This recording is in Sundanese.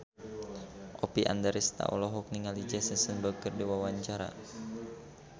Oppie Andaresta olohok ningali Jesse Eisenberg keur diwawancara